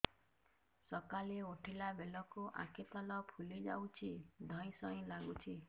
ସକାଳେ ଉଠିଲା ବେଳକୁ ଆଖି ତଳ ଫୁଲି ଯାଉଛି ଧଇଁ ସଇଁ ଲାଗୁଚି